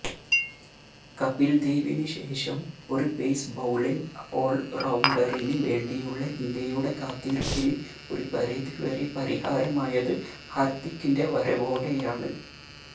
കപില്ദേവിന് ശേഷം ഒരു pace bowling ഓള്റൌണ്ടറിന് വേണ്ടിയുള്ള ഇന്ത്യയുടെ കാത്തിരിപ്പിന് ഒരുപരിധി വരെ പരിഹാരമായത് ഹാര്ദിക്കിന്റെ വരവോടെയാണ്